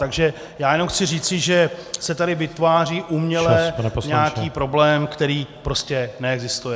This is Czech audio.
Takže já jenom chci říci, že se tady vytváří uměle nějaký problém, který prostě neexistuje.